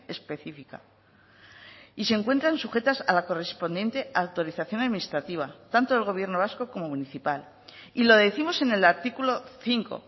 específica y se encuentran sujetas a la correspondiente autorización administrativa tanto el gobierno vasco como municipal y lo décimos en el artículo cinco